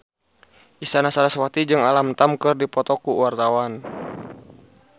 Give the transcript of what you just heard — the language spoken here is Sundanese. Isyana Sarasvati jeung Alam Tam keur dipoto ku wartawan